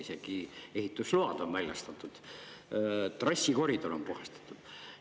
Isegi ehitusload on väljastatud, trassikoridor on puhastatud.